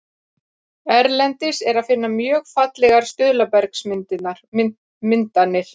erlendis er að finna mjög fallegar stuðlabergsmyndanir